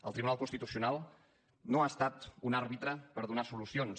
el tribunal constitucional no ha estat un àrbitre per donar solucions